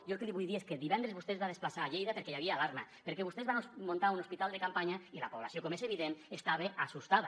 jo el que li vull dir és que divendres vostè es va desplaçar a lleida perquè hi havia alarma perquè vostès van muntar un hospital de campanya i la població com és evident estava espantada